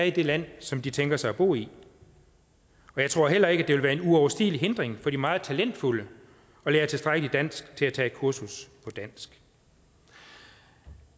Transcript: i det land som de tænker sig at bo i og jeg tror heller ikke det vil være en uoverstigelig hindring for de meget talentfulde at lære tilstrækkelig dansk til at kunne tage et kursus på dansk